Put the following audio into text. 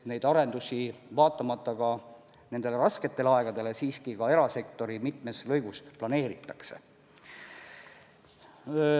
Vaatamata praegustele rasketele aegadele, siiski ka erasektori mitmes lõigus tehakse planeerimistöid.